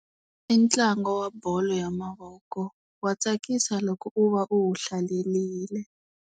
I ntlangu wa bolo ya mavoko, wa tsakisa loko u va u wu hlalerile.